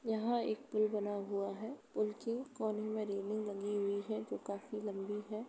यहाँ एक पुल बना हुआ है। पुल के कोने में रेलिंग लगी हुई है जो काफी लंबी है।